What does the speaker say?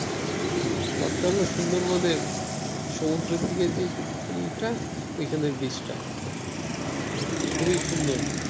কটকা হলো সুন্দরবনের সমুদ্রের যেদিক ই টা ওইখানের beach টা খুবই সুন্দর।